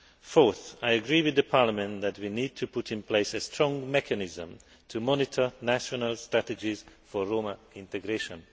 Fourthly, I agree with Parliament that we need to put in place a strong mechanism to monitor national strategies for Roma integration.